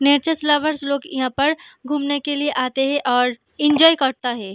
Natures lover लोग यहाँ पर घुमने के लिए आते है और एन्जॉय करता है।